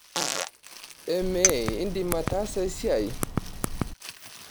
Emee indim ataasa esiai?